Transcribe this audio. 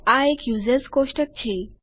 આ એક યુઝર્સ કોષ્ટક છે